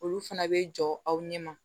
Olu fana bɛ jɔ aw ɲɛma